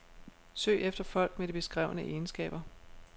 Søg efter folk med de beskrevne egenskaber.